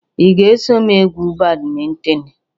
Ị ga-eso m egwu badminton?